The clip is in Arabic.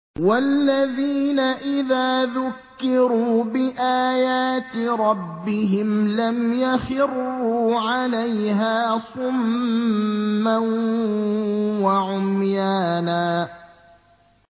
وَالَّذِينَ إِذَا ذُكِّرُوا بِآيَاتِ رَبِّهِمْ لَمْ يَخِرُّوا عَلَيْهَا صُمًّا وَعُمْيَانًا